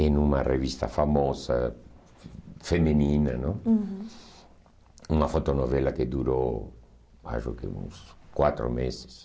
em uma revista famosa, feminina, não? Uhum. Uma fotonovela que durou acho que uns quatro meses.